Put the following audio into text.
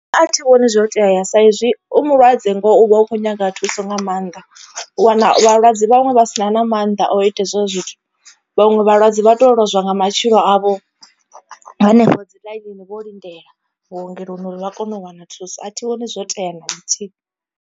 A thi vhoni zwo tea sa izwi u mulwadze ngoho uvha u kho nyaga thuso nga maanḓa. U wana vhalwadze vhaṅwe vha sina na maanḓa o ita hezwo zwithu vhaṅwe vhalwadze vha to lozwa nga matshilo avho hanefho dzi ḽainini vho lindela. Vhuongeloni uri vha kone u wana thuso a thi vhoni zwo tea na luthihi.